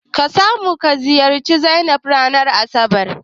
Ka samu ka ziyarci Zainab ranar asabar?